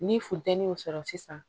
Ni funteni y'o sɔrɔ sisan